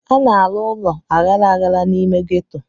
A na-arụ ụlọ aghara aghara n'ime ghetto.